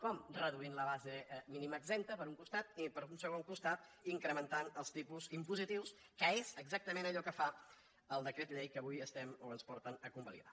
com reduint la base mínima exempta per un costat i per un segon costat incrementant els tipus impositius que és exactament allò que fa el decret llei que avui ens porten a convalidar